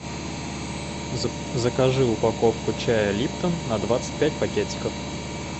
закажи упаковку чая липтон на двадцать пять пакетиков